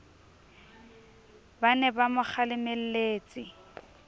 ba ne ba mo kgalemelletse